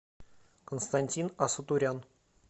константин асутурян